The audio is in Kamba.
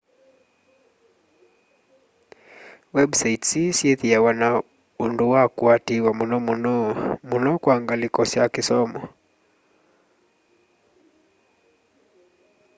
websites ii syithwaa na undu wa kuatiiwa muno muno muno kwa ngaliko ya kisomo